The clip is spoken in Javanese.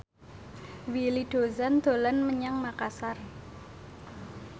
Willy Dozan dolan menyang Makasar